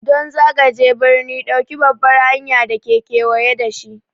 Don zagaje birni, ɗauki babbar hanyar da ke kewaye da shi.